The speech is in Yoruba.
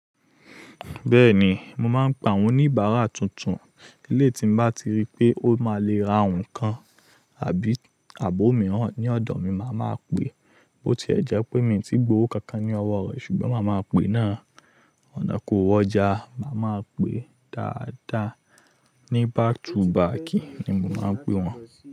Bẹ́ẹ̀ni, mo máa ń pa àwọn oníbàárà tuntun. Eleyi tí nbá ti rí pé ó máa le ra nǹkan àbí ààbò mìíràn ní ọ̀dọ̀ mi, mo ma pe. Bó ti ẹ jẹ́ pé mi ò tí gbówó kankan ní ọwọ́ rẹ̀ ṣùgbọ́n màá ma pe náà. Ọ̀nà kan o wọ́ ọjà. Màá ma pe dáadáa. Ní back to baki ni mo máa ń pè wọ́n.